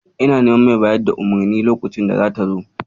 Ina neman mai bayar da umarnin lokacin data zo.